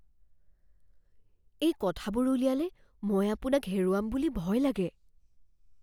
এই কথাবোৰ উলিয়ালে মই আপোনাক হেৰুৱাম বুলি ভয় লাগে।